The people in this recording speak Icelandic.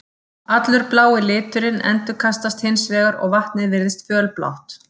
Allur blái liturinn endurkastast hins vegar og vatnið virðist fölblátt.